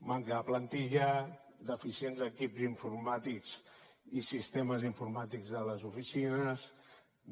manca de plantilla deficients equips informàtics i sistemes informàtics de les oficines